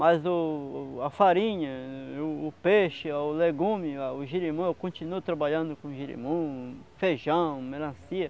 Mas o o a farinha, o o peixe, o legume, o jirimum, eu continuo trabalhando com jirimum, feijão, melancia.